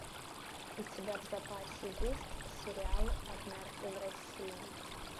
у тебя в запасе есть сериал однажды в россии